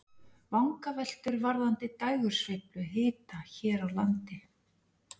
Vangaveltur varðandi dægursveiflu hita hér á landi.